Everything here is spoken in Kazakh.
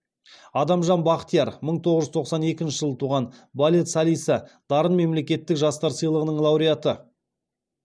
адамжан бақтияр мың тоғыз жүз тоқсан екінші жылы туған балет солисі дарын мемлекеттік жастар сыйлығының лауреаты